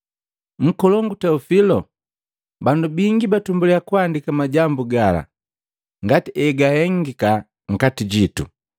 Nkolongu Teofilo. Bandu bingi batumbuliya kuandika majambu gala ngati egahengika nkati jitu.